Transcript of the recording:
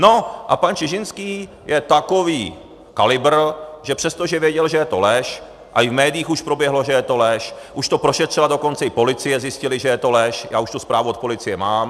No a pan Čižinský je takový kalibr, že přestože věděl, že je to lež, a i v médiích už proběhlo, že je to lež, už to prošetřila dokonce i policie, zjistili, že je to lež, já už tu zprávu od policie mám.